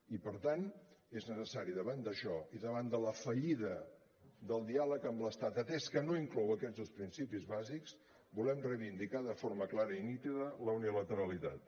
i per tant és necessari davant d’això i davant la fallida del diàleg amb l’estat atès que no inclou aquests dos principis bàsics volem reivindicar de forma clara i nítida la unilateralitat